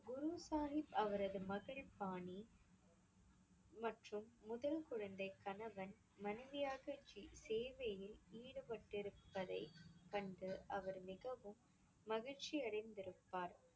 குரு சாஹிப், அவரது மகள் பாணி மற்றும் முதல் குழந்தை, கணவன் மனைவியாக சே~ சேவையில் ஈடுபட்டிருப்பதை கண்டு அவர் மிகவும் மகிழ்ச்சி அடைந்திருப்பார்.